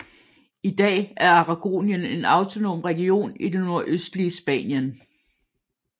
I dag er Aragonien en autonom region i det nordøstlige Spanien